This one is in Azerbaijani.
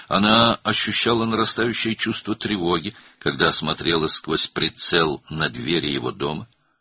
O, evinin qapısını nişangahdan seyr edərkən artan narahatlıq hissi keçirirdi.